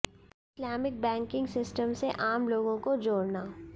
Islamic banking system से आम लोगों को जोड़ना